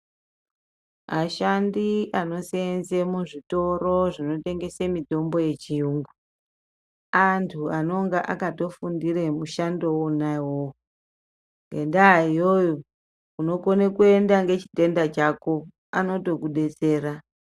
Ashandi anoseenze muzvitoro zvinotengesa mitombo yechiyungu antu anonga akatofundira mushando wona iwowo. Ngendaa iyoyo unokone kuenda ngechitenda chako anotokudetsera.